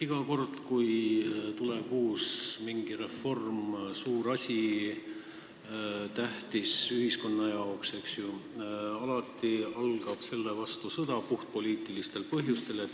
Iga kord, kui tuleb mingi uus reform, suur ja tähtis asi ühiskonna jaoks, siis alati algab selle vastu puhtpoliitilistel põhjustel sõda.